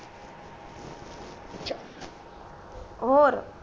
ਹੋਰ